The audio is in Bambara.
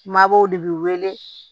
Mabɔw de bi wele